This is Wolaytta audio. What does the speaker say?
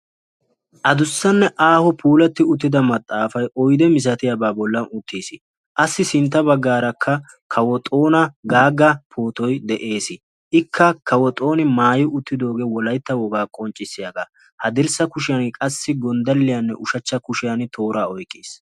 Addussane aaho puulati uttida maxaafay oydde miilatiyaba bollan uttiis. Appe sintta baggara kawo Xoona Gaga pootoy de'ees. Ikka kawo Xooni maayi uttidoge wolaytta wogaa qonccissiyaga. Haddirssa kushiyan i qasi Gonddaliyane ushshachcha kushiyan qassi toora oyqqis.